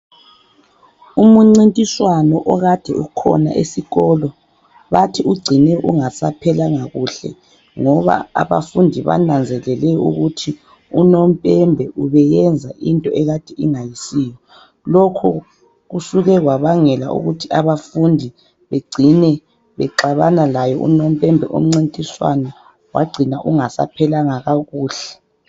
Umncintiswano okade ukhona esikolo bathi ucine ungasaphelanga kuhle ngoba abafundi bananzelele ukuthi unompembe ubeyenza into ekade ingayisiyo. Lokho kusuke kwabangela ukuthi abafundi bacine baxabana laye unompembe, umncintiswano wacina ungasaphelanga kakuhle.